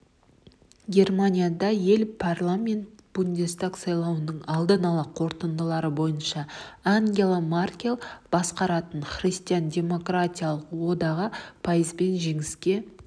германияда ел парламенті бундестаг сайлауының алдын ала қорытындылары бойынша ангела меркель басқаратын христиан-демократиялық одағы пайызбен жеңіске